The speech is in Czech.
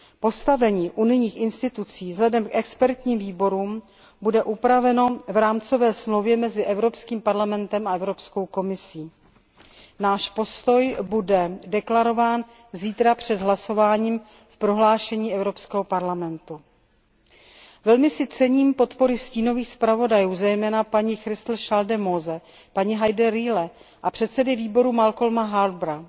Postavení unijních institucí vzhledem k expertním výborům bude upraveno v rámcové smlouvě mezi Evropským parlamentem a Komisí. Náš postoj bude deklarován zítra před hlasováním v prohlášení Evropského parlamentu. Velmi si cením podpory stínových zpravodajů, zejména paní Christel Schaldemose, paní Heide Rühle a předsedy výboru Malcolma Harboura.